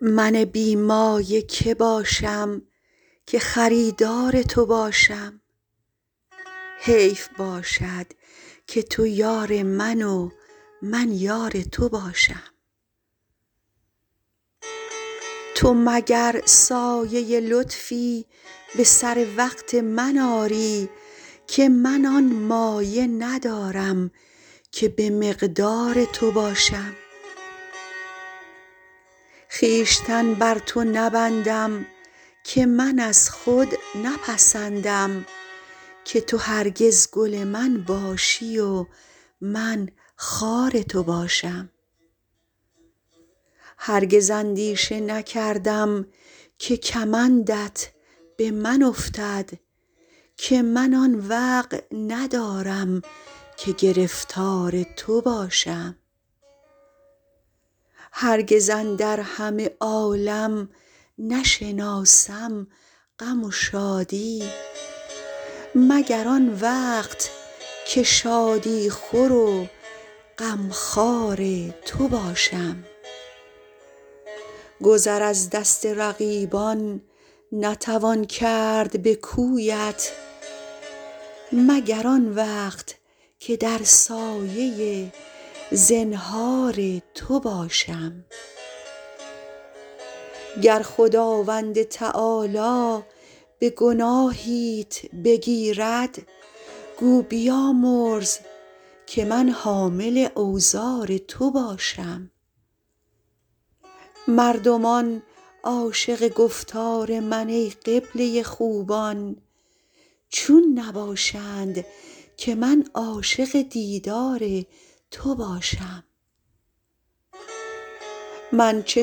من بی مایه که باشم که خریدار تو باشم حیف باشد که تو یار من و من یار تو باشم تو مگر سایه لطفی به سر وقت من آری که من آن مایه ندارم که به مقدار تو باشم خویشتن بر تو نبندم که من از خود نپسندم که تو هرگز گل من باشی و من خار تو باشم هرگز اندیشه نکردم که کمندت به من افتد که من آن وقع ندارم که گرفتار تو باشم هرگز اندر همه عالم نشناسم غم و شادی مگر آن وقت که شادی خور و غمخوار تو باشم گذر از دست رقیبان نتوان کرد به کویت مگر آن وقت که در سایه زنهار تو باشم گر خداوند تعالی به گناهیت بگیرد گو بیامرز که من حامل اوزار تو باشم مردمان عاشق گفتار من ای قبله خوبان چون نباشند که من عاشق دیدار تو باشم من چه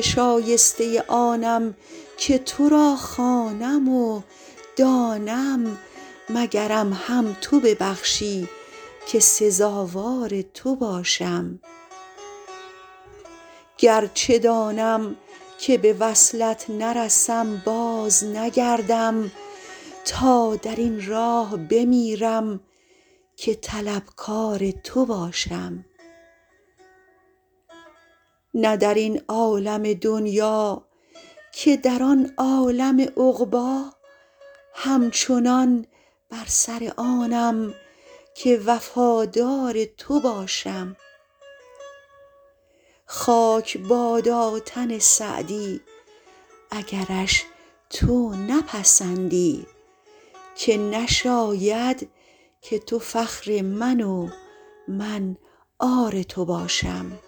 شایسته آنم که تو را خوانم و دانم مگرم هم تو ببخشی که سزاوار تو باشم گرچه دانم که به وصلت نرسم بازنگردم تا در این راه بمیرم که طلبکار تو باشم نه در این عالم دنیا که در آن عالم عقبی همچنان بر سر آنم که وفادار تو باشم خاک بادا تن سعدی اگرش تو نپسندی که نشاید که تو فخر من و من عار تو باشم